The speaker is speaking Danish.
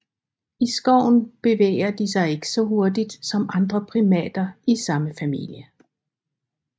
I skoven bevæger de sig ikke så hurtigt som andre primater i samme familie